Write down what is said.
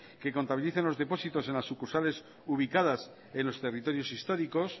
que contabilicen los depósitos en las sucursales ubicadas en los territorios históricos